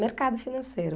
Mercado financeiro.